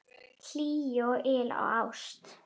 Hlýju og yl og ást.